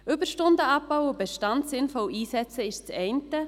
Überstunden abzubauen und den Bestand sinnvoll einzusetzen ist das eine.